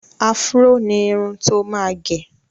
Afúró ni irun tó máa gẹ.